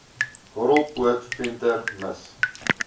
horrelpoot venter mis